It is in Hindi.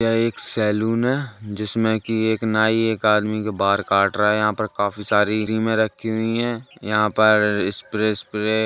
यह एक सैलून है जिसमें कि एक नाई एक आदमी के बाल काट रहा है यहाँ पर काफी सारी क्रीमे रखी हुई हैं। यहाँ पर स्प्रे उस्प्रे --